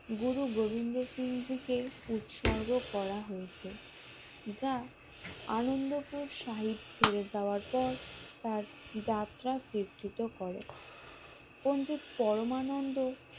গুরু গোবিন্দ সিং থেকে উৎসর্গ করা হয়েছে যা আনন্দপুর সাহিব ছেড়ে যাওয়ার পর তার যাত্রা চিন্তিত করে পন্ডিত পরমানন্দ সিং